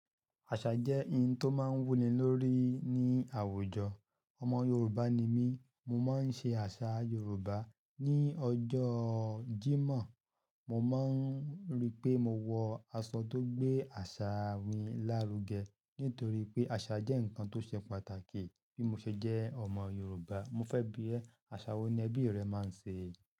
Àṣà jẹ́ ohun tó máa ń wuni lórí ní àwùjọ. Ọmọ Yorùbá ni mí, mo máa ń ṣe àṣà Yorùbá. Ni ọjọ́ Jímọ̀, mo máa ń ríi pé mo wọ aṣọ tó gbé àṣà mi lárugẹ nítorí pé àṣà jẹ́ ǹkan tó ṣe pàtàkì bí mo ṣe jẹ́ ọmọ Yorùbá. Mo fẹ́ bí ẹ, àṣà wo ni ẹbí rẹ máa ń ṣe?